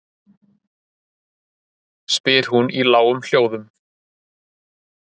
spyr hún í lágum hljóðum.